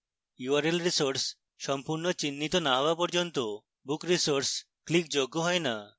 url resource সম্পূর্ণ চিহ্নিত না হওয়া পর্যন্ত book resource ক্লিকযোগ্য হয় না